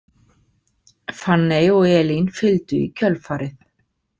Fanney og Elín fylgdu í kjölfarið.